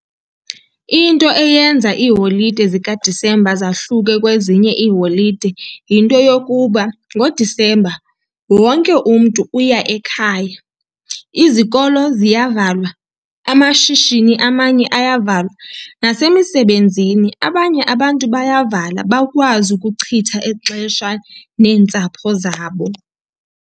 Into eyenza iiholide zikaDisemba zahluke kwezinye iiholide yinto yokuba ngoDisemba wonke umntu uya ekhaya. Izikolo ziyavalwa, amashishini amanye ayavalwa nasemisebenzini abanye abantu bayavala bakwazi ukuchitha ixesha neentsapho zabo.